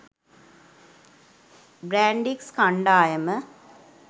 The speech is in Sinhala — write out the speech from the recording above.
බ්‍රැන්ඩික්ස් කණ්ඩායම